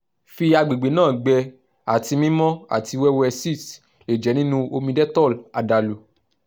fi agbegbe naa gbẹ ati mimọ ati wẹwẹ sitz le jẹ ninu omi dettol adalu